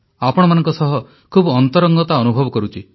ଆପଣମାନଙ୍କ ସହ ଖୁବ୍ ଅନ୍ତରଙ୍ଗତା ଅନୁଭବ କରୁଛି